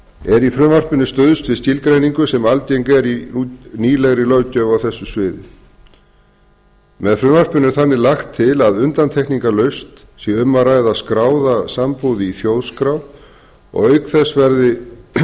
er í frumvarpinu stuðst við skilgreiningu sem algeng er í nýlegri löggjöf á þessu sviði með frumvarpinu er þannig lagt til að undantekningarlaust sé um að ræða skráða sambúð í þjóðskrá og auk þess verður